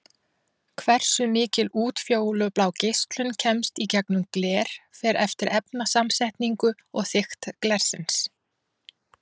Hversu mikil útfjólublá geislun kemst í gegnum gler fer eftir efnasamsetningu og þykkt glersins.